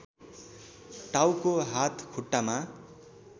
टाउको हात खुट्टामा